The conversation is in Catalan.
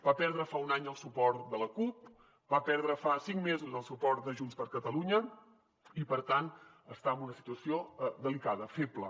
va perdre fa un any el suport de la cup va perdre fa cinc mesos el suport de junts per catalunya i per tant està en una situació delicada feble